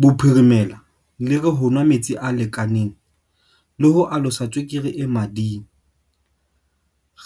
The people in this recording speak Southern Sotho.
Bophirimela le re ho nwa metsi a lekaneng le ho alosa tswekere e mading,